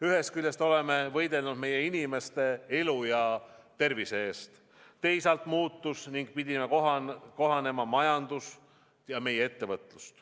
Ühest küljest oleme võidelnud meie inimeste elu ja tervise eest, teisalt muutus ning pidi kohanema majandus ja meie ettevõtlus.